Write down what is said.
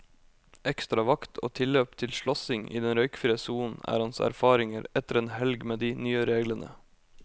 Ekstra vakt og tilløp til slåssing i den røykfrie sonen er hans erfaringer etter en helg med de nye reglene.